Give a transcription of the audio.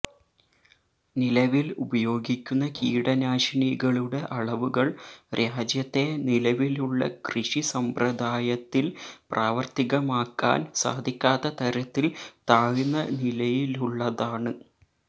നിലവില് ഉപയോഗിക്കുന്ന കീടനാശിനികളുടെ അളവുകള് രാജ്യത്തെ നിലവിലുളള കൃഷി സമ്പ്രദായത്തില് പ്രാവര്ത്തികമാക്കാന് സാധിക്കാത്ത തരത്തില് താഴ്ന്ന നിലയിലുള്ളതാണ്